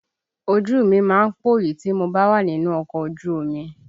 Ojú mi má ń pòyì tí mo bá wà nínú ọkọ̀ ojú omi